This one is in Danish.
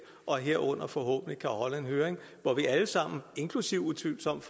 herunder forhåbentlig kan holde en høring hvor vi alle sammen inklusive utvivlsomt